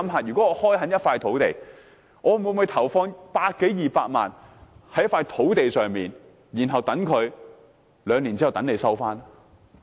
試想想，我會否投放百多二百萬元開墾土地，然後等土地持有者在兩年後收回？